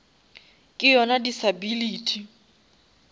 ke yona disability